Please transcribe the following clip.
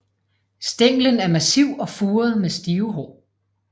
Stænglen er massiv og furet med stive hår